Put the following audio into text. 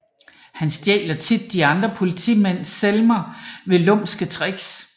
Han stjæler tit de andre politimænds semler ved lumske triks